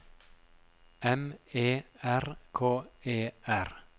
M E R K E R